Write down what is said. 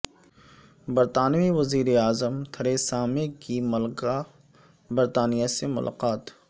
برطانوی وزیر اعظم تھریسامے کی ملکہ برطانیہ سے ملاقات